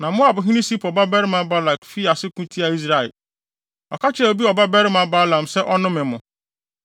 Na Moabhene Sipor babarima Balak fii ase ko tiaa Israel. Ɔka kyerɛɛ Beor babarima Balaam se ɔnnome mo.